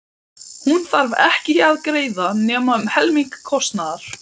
Hún þarf ekki að greiða nema um helming kostnaðar.